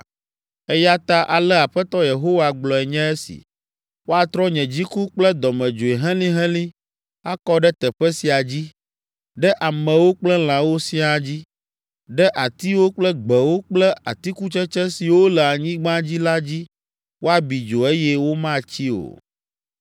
“Eya ta, ale Aƒetɔ Yehowa gblɔe nye esi: ‘Woatrɔ nye dziku kple dɔmedzoe helĩhelĩ akɔ ɖe teƒe sia dzi, ɖe amewo kple lãwo siaa dzi, ɖe atiwo kple gbewo kple atikutsetse siwo le anyigba dzi la dzi woabi dzo eye womatsi o.’